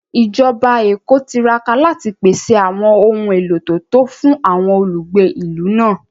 Ìjọba Èkó tiraka láti pèsè àwọn ohun èlò tó tó fún àwọn olùgbé ìlú náà